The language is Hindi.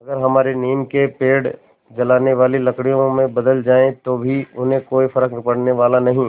अगर हमारे नीम के पेड़ जलाने वाली लकड़ियों में बदल जाएँ तो भी उन्हें कोई फ़र्क पड़ने वाला नहीं